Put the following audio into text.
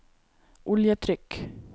oljetrykk